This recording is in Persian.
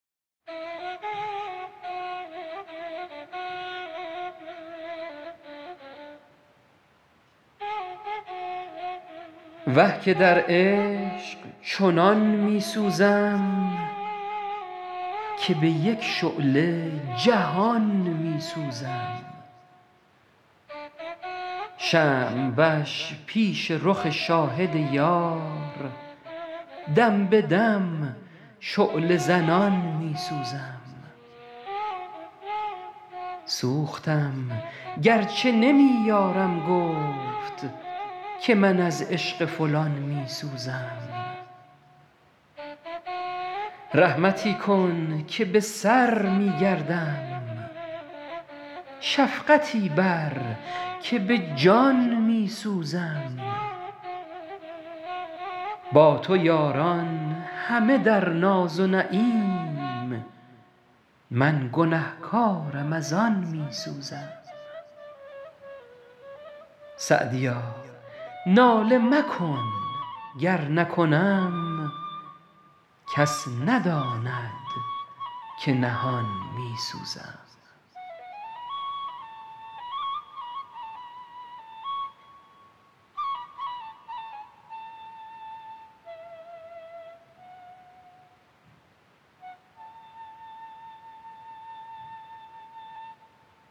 وه که در عشق چنان می سوزم که به یک شعله جهان می سوزم شمع وش پیش رخ شاهد یار دم به دم شعله زنان می سوزم سوختم گر چه نمی یارم گفت که من از عشق فلان می سوزم رحمتی کن که به سر می گردم شفقتی بر که به جان می سوزم با تو یاران همه در ناز و نعیم من گنه کارم از آن می سوزم سعدیا ناله مکن گر نکنم کس نداند که نهان می سوزم